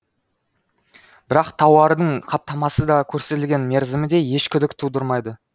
бірақ тауардың қаптамасы да көрсетілген мерзімі де еш күдік тудырмайды